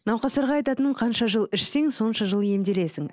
науқастарға айтатыным қанша жыл ішсең сонша жыл емделесің